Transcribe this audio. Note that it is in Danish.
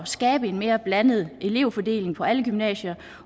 skabe en mere blandet elevfordeling på alle gymnasier